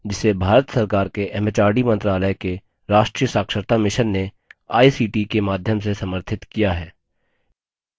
जिसे भारत सरकार के एमएचआरडी मंत्रालय के राष्ट्रीय साक्षरता mission ने आई सी टी ict के माध्यम से समर्थित किया है